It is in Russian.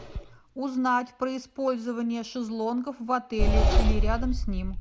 узнать про использование шезлонгов в отеле или рядом с ним